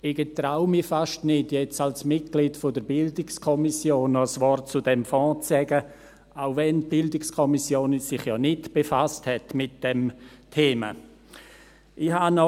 Ich traue mich fast nicht, jetzt als Mitglied der BiK noch ein Wort zu diesem Fonds zu sagen, auch wenn sich die BiK nicht mit diesem Thema befasst hat.